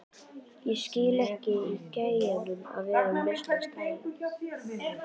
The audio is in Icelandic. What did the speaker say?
Ég skil ekki í gæjanum að vera með svona stæla!